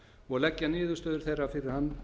og leggja niðurstöður þeirra fyrir hann